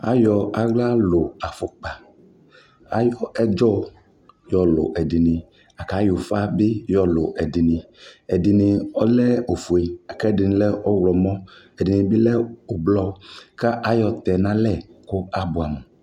Ayɔ aɣla lʋ afukpa, ayɔ ɛdzɔ yɔlʋ ɛdι nι kayɔ ʋfa bι yɔ lʋ ɛdι nι Ɛdι nι ɔlɛ ofue la kʋ ɛdι nι lɛ ɔɣlɔmɔ Ɛdι nι bι lɛ ʋblɔ ka ayɔ tɛ nʋ alɛ kʋ abuamu